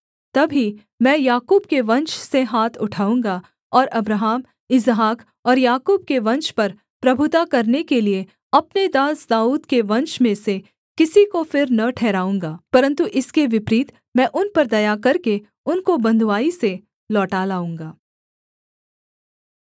तब ही मैं याकूब के वंश से हाथ उठाऊँगा और अब्राहम इसहाक और याकूब के वंश पर प्रभुता करने के लिये अपने दास दाऊद के वंश में से किसी को फिर न ठहराऊँगा परन्तु इसके विपरीत मैं उन पर दया करके उनको बँधुआई से लौटा लाऊँगा